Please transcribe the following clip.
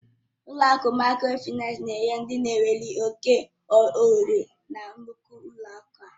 Ụlọ akụ Mikrofaịnsi na-enyere ndị na enweghị oke ohere na nnukwu ụlọ akụ aka